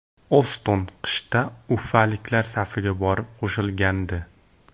Oston qishda ufaliklar safiga borib qo‘shilgandi.